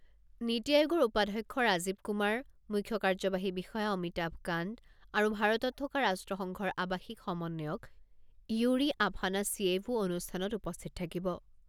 নিটি আয়োগৰ উপাধ্যক্ষ ৰাজীৱ কুমাৰ, মুখ্য কাৰ্যবাহী বিষয়া অমিতাভ কান্ত আৰু ভাৰতত থকা ৰাষ্ট্ৰসংঘৰ আৱাসিক সমন্বয়ক য়ুৰি আফানাচিয়েভো অনুষ্ঠানত উপস্থিত থাকিব।